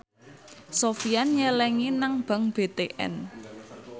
Sofyan nyelengi nang bank BTN